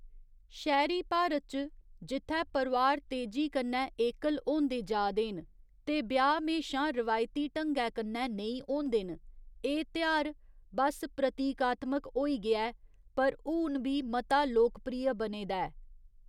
शैह्‌‌‌री भारत च, जित्थै परोआर तेजी कन्नै एकल होंदे जा दे न ते ब्याह् म्हेशां रिवायती ढंगै कन्नै नेईं होंदे न, एह्‌‌ तेहार बस्स प्रतीकात्मक होई गेआ ऐ, पर हून बी मता लोकप्रिय बने दा ऐ।